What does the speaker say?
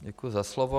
Děkuji za slovo.